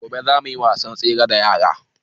Gobe zamu yi wasan tsere da yaran